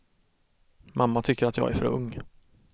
Mamma tycker att jag är för ung.